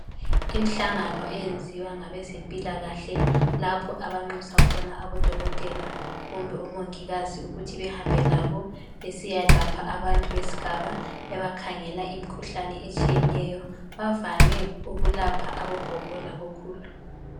Imhlangano eyeziwa ngabezempilakahle lapho abanxusa khona abodokotela kumbe omongikazi ukuthi behambe labo besiyalapha abantu besigaba bebekhangela imikhuhlane etshiyeneyo bavame ukulapha abogogo labokhulu.